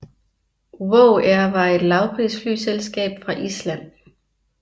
WOW air var et lavprisflyselskab fra Island